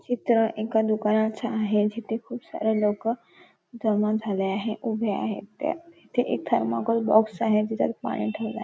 चित्र एका दुकानाचे आहे जिथे खुप सारे लोक जमा झालेल आहे उभे आहेत ते तिथ एक थेरमाकोल बॉक्स आहे त्याच्यात पाणी ठेवलेल आहे.